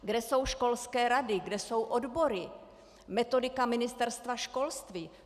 Kde jsou školské rady, kde jsou odbory, metodika Ministerstva školství?